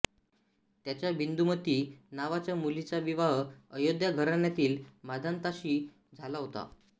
त्याच्या बिंदुमती नावाच्या मुलीचा विवाह अयोध्या घराण्यातील मांधाताशी झाला होता